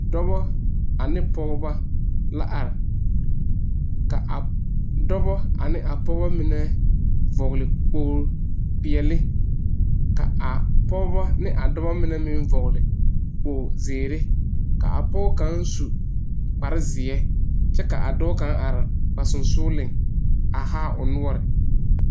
Dͻbͻ ane pͻgebͻ la are. ka a dͻbͻ ane a pͻgebͻ mine vͻgele kpooli peԑle ka pͻge ne a dͻbͻ mine meŋ vͻgele kpooli zeere. Ka a pͻge kaŋa su kpare zeԑ kyԑ ka a dͻͻ kaŋa are ba sensogeliŋ a haa o noͻre.